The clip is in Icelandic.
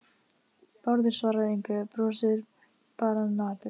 Bárður svarar engu, brosir bara napurt.